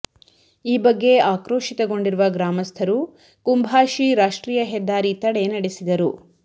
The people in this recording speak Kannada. ಈ ಬಗ್ಗೆ ಆಕ್ರೋಶಿತಗೊಂಡಿರುವ ಗ್ರಾಮಸ್ಥರು ಕುಂಭಾಶಿ ರಾಷ್ಟ್ರೀಯ ಹೆದ್ದಾರಿ ತಡೆ ನಡೆಸಿದರು